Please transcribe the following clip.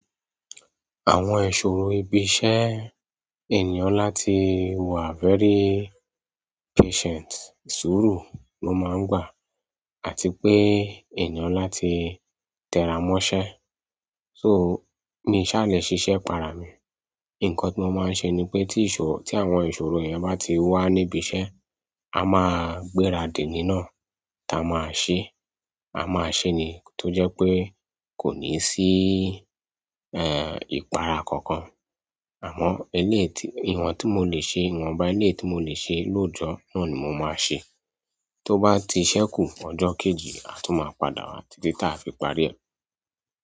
Àwọn ìṣòro ibi iṣẹ́, ènìyàn láti wà very patient, suuru ló máa ń gbà àti pé ènìyàn láti tẹra mọṣẹ́. So, mi ṣàlẹ̀ ṣiṣẹ́ para mi. Ǹkan tí mo máa ń ṣe ni pé tí ìṣòro, tí àwọn ìṣòro yẹn bá ti wà níbi iṣẹ́, a máa gbéra dì nínà tá a máa ṣe. A máa ṣe ní tó jẹ́ pé kò ní sí, eh, ìpara kankan. Àmọ́ eléyi tí, ìwọ̀n tí mo lè ṣe, ìwọ̀nba eleyi tí mo lè ṣe lọ́jọ́ náà ni mo máa ṣe. Tó bá ti ṣẹ́ kù fún ọjọ́ kejì, a tún máa padà wá títí táa fi parí rẹ̀.